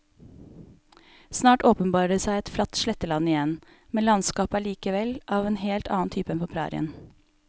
Snart åpenbarer det seg et flatt sletteland igjen, men landskapet er likevel av en helt annen type enn på prærien.